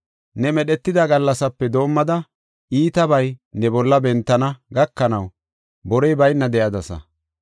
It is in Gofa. Ne medhetida gallasaape doomada, iitabay ne bolla bentana gakanaw borey bayna de7adasa.